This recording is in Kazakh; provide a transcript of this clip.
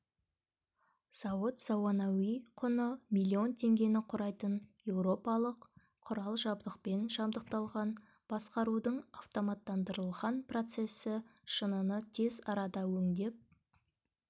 зауыт заманауи құны миллион теңгені құрайтын еуропалық құрал-жабдықпен жабдықталған басқарудың автоматтандырылған процессі шыныны тез арада өңдеп